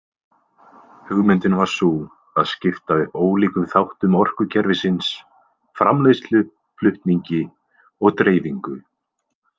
Hugmyndin var sú að skipta upp ólíkum þáttum orkukerfisins: framleiðslu, flutningi og dreifingu.